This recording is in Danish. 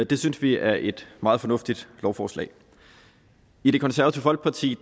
det synes vi er et meget fornuftigt lovforslag i det konservative folkeparti